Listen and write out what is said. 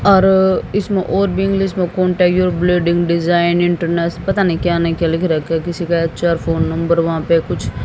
और इसमें और भी इंग्लिश में contact your bleeding design international पता नहीं क्या लिख रखा है किसी का अच्छा फोन नंबर वहां पर कुछ--